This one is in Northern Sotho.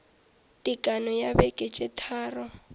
tekano ya beke tše tharo